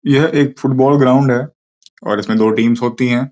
यह एक football ground है और इसमें दो टीम्स होती हैं।